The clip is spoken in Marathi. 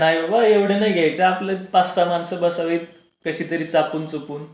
नाही ओ एवढा नाही घायचा आपली पाच सहा माणसा अली पाहजे कशी तरी चापून चुपून.